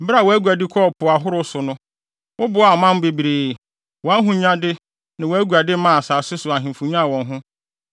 Bere a wʼaguade kɔɔ po ahorow so no woboaa aman bebree; Wʼahonyade ne wʼaguade maa asase so ahemfo nyaa wɔn ho.